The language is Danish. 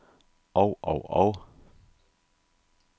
og og og